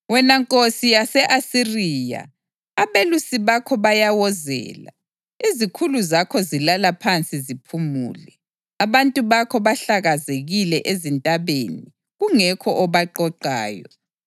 Wena nkosi yase-Asiriya, abelusi bakho bayawozela, izikhulu zakho zilala phansi ziphumule. Abantu bakho bahlakazekile ezintabeni kungekho obaqoqayo.